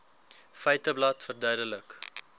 feiteblad verduidelik